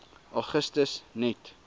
augustus net